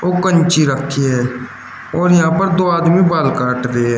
कैंची रखी है और यहां पर दो आदमी बाल काट रहे--